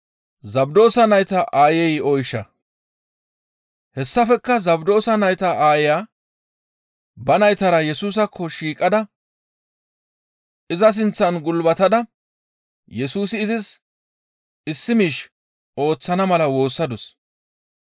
Hessafekka Zabdoosa nayta aaya ba naytara Yesusaakko shiiqada iza sinththan gulbatada Yesusi izis issi miish ooththana mala woossadus.